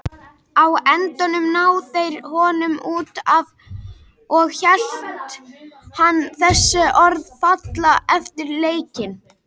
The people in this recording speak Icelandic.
Á endanum ná þeir honum út af og lét hann þessi orð falla eftir leikinn.